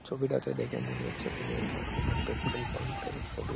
ছবিটাতে দেখে মনে হচ্ছে কোনো একটা আহ- পেট্রল পাম্প -এর ছবি-ই ।